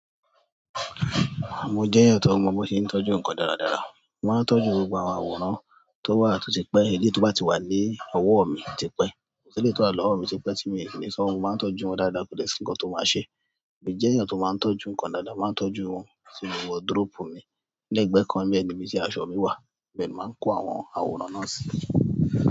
Mo jẹ́ èèyàn tó mọ bọ́ ṣe ń tọ́jú nǹkan dáradára. Mo máa ń tọ́jú gbogbo àwọn àwòrán tó wà tó ti pẹ́, èléyìí tó bá ti wà lí ọwọ́ ọ̀ mi ti pẹ́, so eléyìí tó wà lọ́wọ́ mi ti pẹ́ tí mi ò lè fi sọ́wó, mo máa ń tọ́jú wọn dáadáa kò dẹ̀ sí nǹkan tó máa ṣe. Èmi jẹ́ èèyàn tó máa ń tọ́jú nǹkan dáadáa, n má tọ́jú wọn sínú wọduróòpù mi. Lẹ́gbẹ̀ẹ́ kan nílẹ̀ níbi tí aṣọ mi í wà, ibẹ̀ ni ma ń kó àwọn àwòrán náà sí.